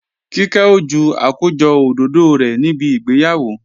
Kíkẹ́ ó ju àkójọ òdòdó rẹ̀ níbi ìgbéyàwó